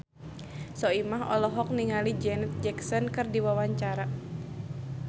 Soimah olohok ningali Janet Jackson keur diwawancara